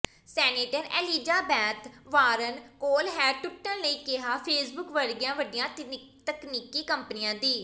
senator Elizabeth Warren ਕੋਲ ਹੈ ਟੁੱਟਣ ਲਈ ਕਿਹਾ ਫੇਸਬੁਕ ਵਰਗੀਆਂ ਵੱਡੀਆਂ ਤਕਨੀਕੀ ਕੰਪਨੀਆਂ ਦੀ